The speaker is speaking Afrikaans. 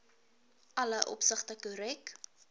alle opsigte korrek